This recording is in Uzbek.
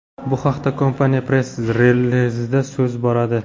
Bu haqda kompaniya press-relizida so‘z boradi .